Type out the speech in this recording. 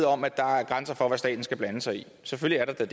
om at der er grænser for hvad staten skal blande sig i selvfølgelig er der